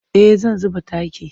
Eh zan zuba taki.